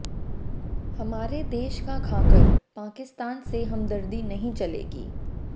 हमारे देश का खाकर पाकिस्तान से हमदर्दी नहीं चलेगी